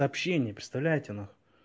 сообщение представляете нахуй